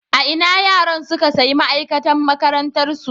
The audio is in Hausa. A ina yaran suka sayi ma'aikatan makarantarsu